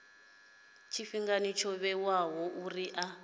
tshifhinga tsho vhewaho uri a